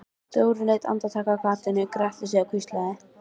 Dóri leit andartak af gatinu, gretti sig og hvíslaði: